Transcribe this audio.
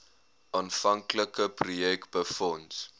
aanvanklike projek befonds